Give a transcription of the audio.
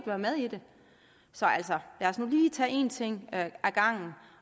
være med i det så lad os nu lige tage en ting ad gangen